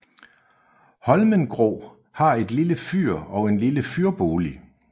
Holmengrå har et lille fyr og en lille fyrbolig